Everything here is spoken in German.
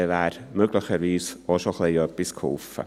Damit wäre möglicherweise auch bereits ein wenig geholfen.